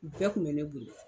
Bɛɛ tun bɛ ne bonya.